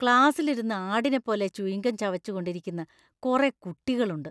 ക്ലാസിലിരുന്ന് ആടിനെപ്പോലെ chewing gum ചവച്ചുകൊണ്ടിരിക്കുന്ന കുറെ കുട്ടികളുണ്ട്.